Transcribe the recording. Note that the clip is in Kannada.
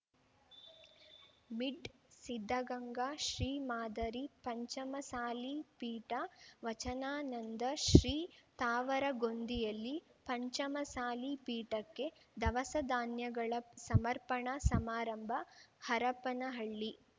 ಮಿಡ್ ಸಿದ್ಧಗಂಗಾ ಶ್ರೀ ಮಾದರಿ ಪಂಚಮಸಾಲಿ ಪೀಠ ವಚನಾನಂದ ಶ್ರೀ ತಾವರಗೊಂದಿಯಲ್ಲಿ ಪಂಚಮಸಾಲಿ ಪೀಠಕ್ಕೆ ದವಸ ಧಾನ್ಯಗಳ ಸಮರ್ಪಣಾ ಸಮಾರಂಭ ಹರಪನಹಳ್ಳಿ